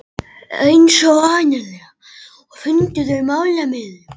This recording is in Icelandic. Eins og vanalega fundu þau málamiðlun.